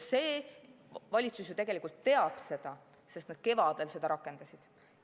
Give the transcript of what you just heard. Valitsus ju tegelikult teab seda, sest nad kevadel rakendasid neid meetmeid.